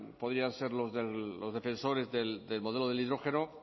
podrían ser los defensores del modelo del hidrógeno